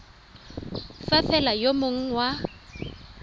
fa fela yo mongwe wa